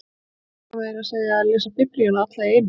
Ég ákvað meira að segja að lesa Biblíuna alla í einu